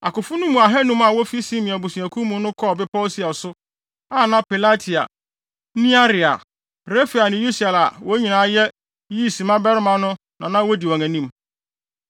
Akofo no mu ahannum a wofi Simeon abusuakuw mu no kɔɔ bepɔw Seir so, a na Pelatia, Nearia, Refaia ne Usiel a wɔn nyinaa yɛ Yisi mmabarima no na na wodi wɔn anim.